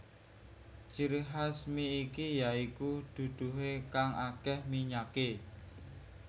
Ciri khas mi iki ya iku duduhe kang akeh minyake